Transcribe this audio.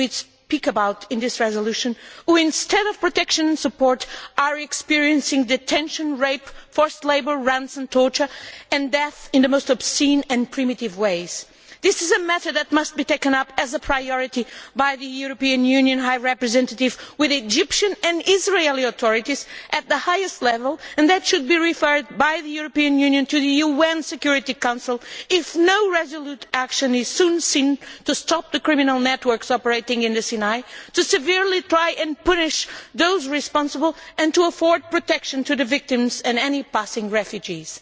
whom we speak about in this resolution who, instead of protection and support, are experiencing detention, rape, forced labour, ransom, torture and death in the most obscene and primitive ways. This is a matter that must be taken up as a priority by the European Union High Representative, with the Egyptian and Israeli authorities at the highest level, and that should be referred by the European Union to the UN Security Council if no resolute action is taken soon to stop the criminal networks operating in the Sinai, to make stringent efforts to punish those responsible and to afford protection to the victims and any passing refugees.